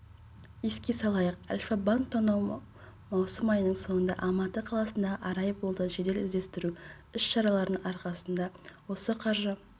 еске салайық альфа-банк тонау маусым айының соңында алматы қаласындағы арай болды жедел-іздестіру іс-шараларының арқасында осы қаржы